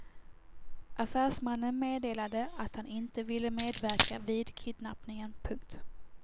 Affärsmannen meddelade att han inte ville medverka vid kidnappningen. punkt